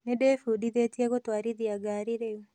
Nĩndĩbundithĩtie gũtwarithia ngari rĩu